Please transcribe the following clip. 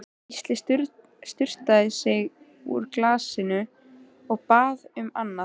Gísli sturtaði í sig úr glasinu, og bað um annað.